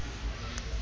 um thetho ocacisa